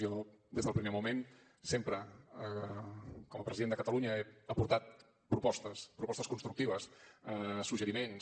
jo des del primer moment sempre com a president de catalunya he aportat propostes propostes constructives suggeriments